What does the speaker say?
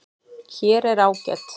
Hér er ágæt